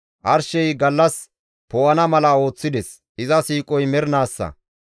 Arshey gallas poo7ana mala ooththides; iza siiqoy mernaassa.